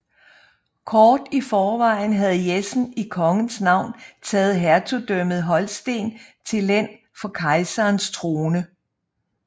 Kort i forvejen havde Jessen i kongens navn taget hertugdømmet Holsten til len for kejserens trone